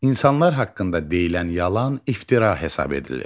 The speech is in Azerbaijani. İnsanlar haqqında deyilən yalan iftira hesab edilir.